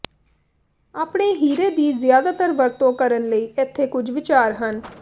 ਆਪਣੇ ਹੀਰੇ ਦੀ ਜ਼ਿਆਦਾਤਰ ਵਰਤੋਂ ਕਰਨ ਲਈ ਇੱਥੇ ਕੁਝ ਵਿਚਾਰ ਹਨ